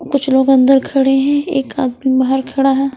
कुछ लोग अंदर खड़े हैं एक आदमी बाहर खड़ा है।